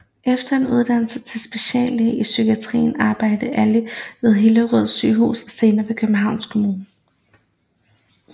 Efter en uddannelse til speciallæge i psykiatri arbejdede Ali ved Hillerød Sygehus og senere ved Københavns Kommune